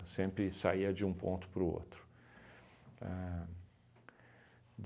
sempre saía de um ponto para o outro. Ahn